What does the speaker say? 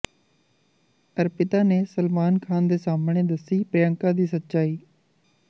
ਅਰਪਿਤਾ ਨੇ ਸਲਮਾਨ ਖਾਨ ਦੇ ਸਾਹਮਣੇ ਦੱਸੀ ਪ੍ਰਿਯੰਕਾ ਦੀ ਸੱਚਾਈ